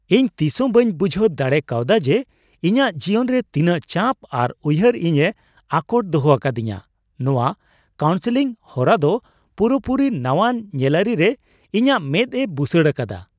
ᱤᱧ ᱛᱤᱥᱦᱚᱸ ᱵᱟᱹᱧ ᱵᱩᱡᱷᱟᱹᱣ ᱫᱟᱲᱮᱠᱟᱣᱫᱟ ᱡᱮ ᱤᱧᱟᱹᱜ ᱡᱤᱭᱚᱱ ᱨᱮ ᱛᱤᱱᱟᱹᱜ ᱪᱟᱯ ᱟᱨ ᱩᱭᱦᱟᱹᱨ ᱤᱧᱮ ᱟᱴᱚᱠ ᱫᱚᱦᱚ ᱟᱠᱟᱫᱤᱧᱟᱹ ᱾ᱱᱚᱶᱟ ᱠᱟᱣᱩᱱᱥᱤᱞᱝ ᱦᱚᱨᱟ ᱫᱚ ᱯᱩᱨᱟᱹᱯᱩᱨᱤ ᱱᱟᱣᱟᱱ ᱧᱮᱞᱟᱹᱨᱤ ᱨᱮ ᱤᱧᱟᱹᱜ ᱢᱮᱫ ᱮ ᱵᱩᱥᱟᱹᱲ ᱟᱠᱟᱫᱟ !